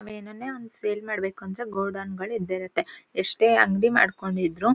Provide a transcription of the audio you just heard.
ಒಂದ್ ವೇಳೆ ಅವನ್ ಸೇಲ್ ಮಾಡ್ಬೇಕಂದ್ರೆ ಅವನ್ ಗೋಡನ್ ಗಳ್ ಇದ್ದೆ ಇರತ್ತೆ ಎಷ್ಟೇ ಅಂಗಡಿ ಮಾಡ್ಕೊಂಡಿದ್ರು --